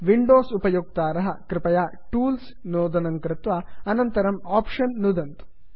windows उपयोक्ताराः कृपया tools tools नोदनं कृत्वा अनन्तरं आप्शन्स् आप्षन् नुदन्तु